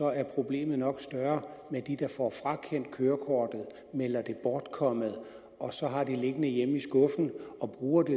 er problemet nok større med dem der får frakendt kørekortet melder det bortkommet og så har det liggende hjemme i skuffen og bruger det